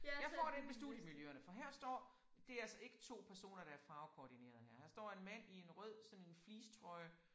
Jeg får dem med studiemiljøerne for her står. Det er altså ikke 2 personer der er farvekoordineret her. Her står en mand i en rød sådan en fleecetrøje